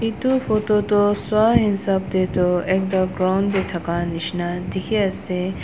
edu photo toh swahisap taetu ekta ground tae thaka nishina dikhiase--